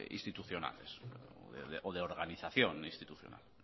institucionales o de organización institucional